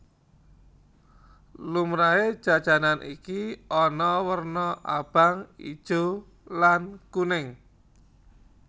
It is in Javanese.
Lumrahé jajanan iki ana werna abang ijo lan kuning